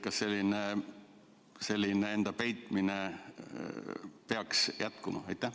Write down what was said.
Kas selline enda peitmine peaks jätkuma?